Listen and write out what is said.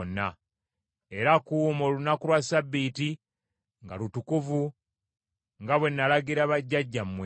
era kuuma olunaku lwa Ssabbiiti nga lutukuvu nga bwe nalagira bajjajjammwe.’